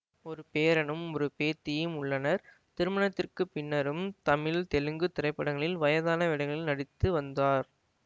ஒரு பேரனும் ஒரு பேத்தியும் உள்ளனர் திருமணத்திற்கு பின்னரும் தமிழ்தெலுங்கு திரைப்படங்களில் வயதான வேடங்களில் நடித்து வந்தார்